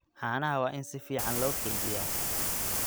Caanaha waa in si fiican loo kaydiyaa.